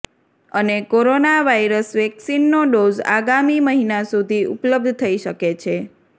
અને corona virus વેક્સીનનો dose આગામી મહિના સુધી ઉપલબ્ધ થઈ શકે છે